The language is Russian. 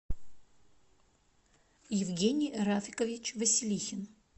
евгений рафикович василихин